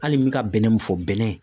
Hali n mɛ ka bɛnɛ min fɔ bɛnɛ